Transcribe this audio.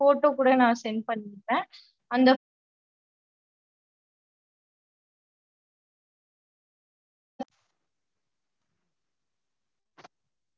okay okay mam. இப்போ நா உங்களுக்கு message அனுப்ச்சிருக்கேன்ல mam so நீங்க அத open பண்ணி என்ன menu பாத்துட்டு அதுலயே எனக்கு அனுப்ச்சுட்டுருங் mam கொஞ்சம்